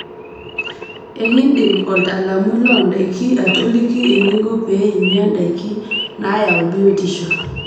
Enkidim oltaalamui loondaiki atoliki eninko pee inya ndaiki naayau biotisho.